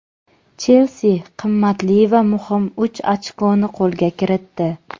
"Chelsi" qimmatli va muhim uch ochkoni qo‘lga kiritdi.